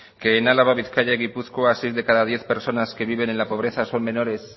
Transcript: que en álava bizkaia y gipuzkoa seis de cada diez personas que viven en la pobreza son menores